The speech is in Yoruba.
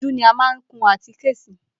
Ojú ní a má ń kun àtíké sí.